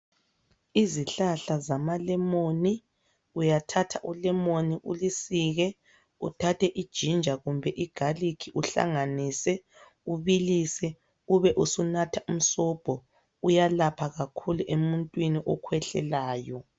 Izihlahla zamalemoni, uyathatha ulemoni ulisike uthathe iginger kumbe igarlic uhlanganise ubilise ube usunatha umsobho, uyalapha kakhulu emuntwini okhwehlelayo.